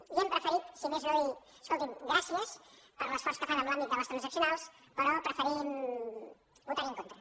i hem preferit si més no dir escolti’m gràcies per l’esforç que fan en l’àmbit de les transaccionals però preferim votar·hi en contra